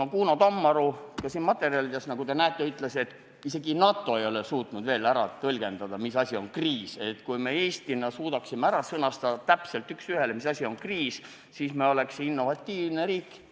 Kuno Tammearu ütleb ka siin materjalides, nagu te näete, et isegi NATO ei ole suutnud veel tõlgendada, mis asi on kriis, ja kui me Eestis suudaksime täpselt ära sõnastada, mis asi on kriis, siis me oleks innovatiivne riik.